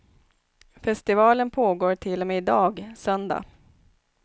Festivalen pågår till och med i dag, söndag.